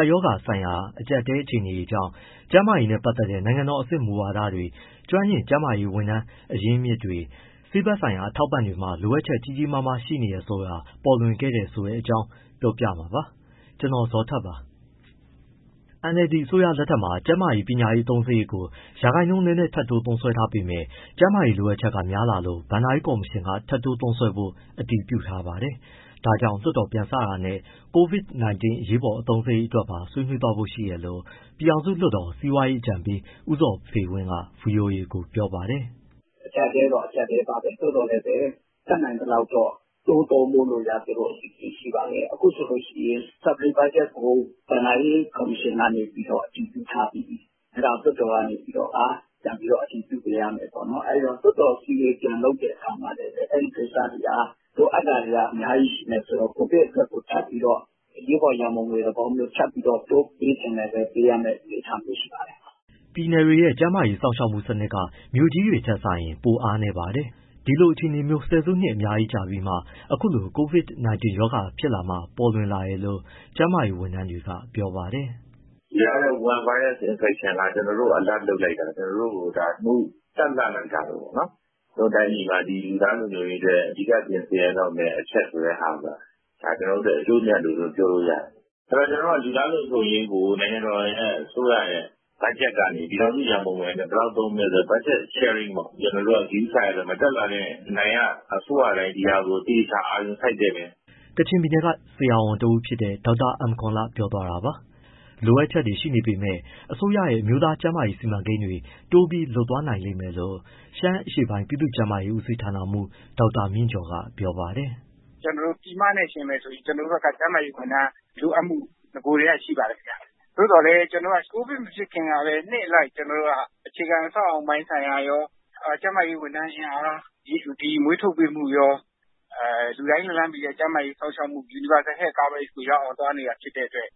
ပ်ရောဂါဆိုင်ရာအကြပ်အတည်းအခြေအနေကြောင့် ကျန်းမာရေးနဲ့ပတ်သက်တဲ့ နိုင်ငံတော်အဆင့် မူဝါဒတွေ၊ ကျွမ်းကျင် ကျန်းမာရေးဝန်ထမ်း အရင်းအမြစ်တွေ၊ ဆေးဘက်ဆိုင်ရာ အထောက်အပံ့တွေမှာ လိုအပ်ချက် ကြီးကြီးမားမားရှိနေတာဆိုတာ ပေါ်လွင်ခဲ့တယ်ဆိုတဲ့အကြောင်း ကိုဇော်ထက် ပြောပြမှာပါ။ NLD အစိုးရလက်ထက်မှာ ပညာရေး၊ ကျန်းမာရေးအသုံးစရိတ်ကို ရာခိုင်နှုန်းနည်းနည်း ထပ်ထိုး သုံးစွဲထားပေမဲ့ ကျန်းမာရေးလိုအပ်ချက်ကများ လာလို့ ဘဏ္ဍာရေးကော်မရှင်က ထပ်တိုးသုံးစွဲဖို့ အတည်ပြုထားပါတယ်။ ဒါကြောင့် လွှတ်တော်ပြန်စတာနဲ့ COVID-19 အရေးပေါ် အသုံးစရိတ် အတွက်ပါ ဆွေးနွေးသွားဖို့ရှိတယ်လို့ ပြည်ထောင်စုလွှတ်တော် စီးပွားရေးအကြံပေး ဦးဇော်ဖေဝင်းက VOA ကို ပြောပါတယ်။ “ အကျပ်အတည်းတော့ အကျပ်အတည်းပါပဲ။ သို့သော်လည်းပဲ တတ်နိုင်သလောက်တော့ တိုးသုံးဖို့ရာ သူတို့ (အစိုးရ) အစီအစဉ်ရှိပါတယ်။ အခုဆိုရင် ထပ်တိုးအသုံးစရိတ်ကို ဘဏ္ဍာရေးကော်မရှင်က အတည်ပြုထားပြီးပြီ၊ အဲဒါကို လွှတ်တော်ကနေ ပြန်ပြီး အတည်ပြု ပေးရမယ်ပေါ့။ အဲဒီတော့ လွှတ်တော်အစည်းအဝေး ပြန်လုပ်တဲ့အခါမှာ အဲဒီကိစ္စတွေဟာ လိုအပ်တာတွေက အများကြီးရှိမယ်ဆိုတော့ COVID အတွက်ကို ထပ်ပြီးတော့ အရေးပေါ်ရံပုံငွေသဘောမျိုး ထပ်ပြီး တိုးပေးချင်လည်း ပေးရမယ့် အနေအထားမျိုးရှိပါတယ်။” ပြည်နယ်တွေရဲ့ ကျန်းမာရေး စောင့်ရှောက်မှုစနစ်က မြို့ကြီးတွေထက်စာရင် ပိုအားနည်းပါတယ်။ ဒီလိုအခြေအနေမျိုး ဆယ်စုနှစ်များစွာကြာခဲ့ပြီးမှ၊ အခုလို COVID-19 ရောဂါဖြစ်လာမှ ပေါ်လွင်လာတယ်လို့ ကျန်းမာရေးဝန်ထမ်းတွေက ပြောပါတယ်။ “ ဒီဟာက Wuhan virus infection က ကျနော်တို့ကို alert လုပ်လိုက်တာ၊ ကျနော်တို့ကို တန့်လှန့်လိုက်တာပဲပေါ့နော်။ ကျနော်တို့ တိုင်းပြည်မှာ လူသားလုံခြုံရေးအတွက် အဓိက ပြင်ဆင်ရတော့မယ့်အချက် ဆိုတဲ့ဟာ ဒါက ကျနော်တို့အတွက် အကျိုးအမြတ်လို့ ပြောလို့ရတယ်။ လူသားလုံခြုံရေးကို နိုင်ငံတော်အစိုးရ ဘက်ဂျက်ကနေ ပြည်ထောင်စုရန်ပုံငွေကနေ ဘယ်လောက်သုံးမလဲ ဆိုတဲ့ဟာ budget sharing ပေါ့၊ ကျနော်တို့က ဂရုစိုက်ရတော့မယ်။ တက်လာတဲ့ အနိုင်ရ အစိုးရတိုင်း ဒီဟာကို သေသေချာချာ အာရုံစိုက်သင့်တယ်။” ကချင်ပြည်နယ်က ဆရာဝန်တဦးဖြစ်တဲ့ ဒေါက်တာ အမ်ကောန်လ ပြောသွားတာပါ။ လိုအပ်ချက်တွေရှိနေပေမဲ့ အစိုးရရဲ့ အမျိုးသားကျန်းမာရေးစီမံကိန်းတွေ တိုးပြီးလုပ်သွားနိုင်မယ်လို့ ရှမ်းအရှေ့ပိုင်း ပြည်သူ့ကျန်းမာရေးဦးစီးဋ္ဌာနမှူး ဒေါက်တာမြင့်ကျော်က ပြောပါတယ်။ “ ကျနော်တို့ ပြည်မနဲ့ ယှဉ်မယ်ဆိုရင် ကျနော်တို့ဘက်က ကျန်းမာရေးဝန်ထမ်းလိုအပ်မှု နဂိုကတည်းက ရှိပါတယ်ဗျ။ သို့သော် COVID မဖြစ်ခင်ကလည်း နှစ်အလိုက် ကျနော်တို့က အခြေခံ အဆောက်အအုံပိုင်းဆိုင်ရာရော၊ ကျန်းမာရေးဝန်ထမ်းအင်အား မွေးထုတ်ပေးမှုရော လူတိုင်းလက်လှမ်းမီတဲ့ ကျန်းမာရေး စောင့်ရှောက်မှု universal health coverage ကိုရောက်အောင် သွားနေတာ ဖြစ်တဲ့အတွက်